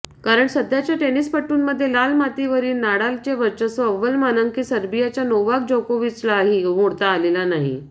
कारण सध्याच्या टेनिसपटूंमध्ये लाल मातीवरील नाडालचे वर्चस्व अव्वल मानांकित सर्बियाच्या नोवाक जोकोविचलाही मोडता आलेले नाही